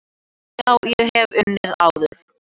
Já, ég hef unnið áður.